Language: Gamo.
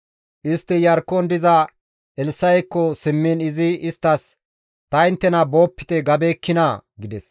Istti Iyarkkon diza Elssa7ekko simmiin izi isttas, «Ta inttena boopite gabeekkinaa?» gides.